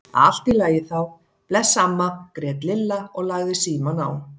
Allt í lagi þá, bless amma grét Lilla og lagði símann á.